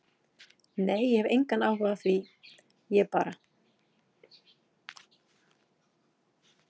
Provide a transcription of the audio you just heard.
Nei ég hef engann áhuga á því, ég bara.